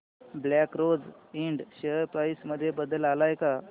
black Rose Ind share price मध्ये बदल आलाय का